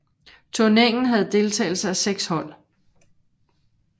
Turneringen havde deltagelse af 6 hold